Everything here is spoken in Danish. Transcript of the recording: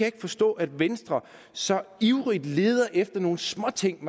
ikke forstå at venstre så ivrigt leder efter nogle småting